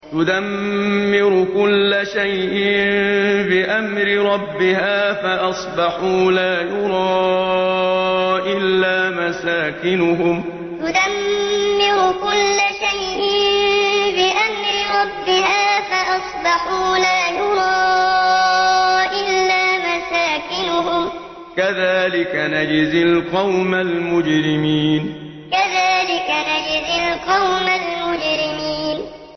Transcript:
تُدَمِّرُ كُلَّ شَيْءٍ بِأَمْرِ رَبِّهَا فَأَصْبَحُوا لَا يُرَىٰ إِلَّا مَسَاكِنُهُمْ ۚ كَذَٰلِكَ نَجْزِي الْقَوْمَ الْمُجْرِمِينَ تُدَمِّرُ كُلَّ شَيْءٍ بِأَمْرِ رَبِّهَا فَأَصْبَحُوا لَا يُرَىٰ إِلَّا مَسَاكِنُهُمْ ۚ كَذَٰلِكَ نَجْزِي الْقَوْمَ الْمُجْرِمِينَ